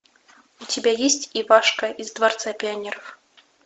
у тебя есть ивашка из дворца пионеров